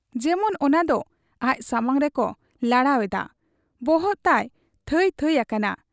ᱡᱮᱢᱚᱱ ᱚᱱᱟᱫᱚ ᱟᱡ ᱥᱟᱢᱟᱝ ᱨᱮᱠᱚ ᱞᱟᱲᱟᱣ ᱮᱫᱟ ᱾ ᱵᱚᱦᱚᱜ ᱛᱟᱭ ᱵᱷᱟᱸᱭ ᱵᱷᱟᱸᱭ ᱟᱠᱟᱱᱟ ᱾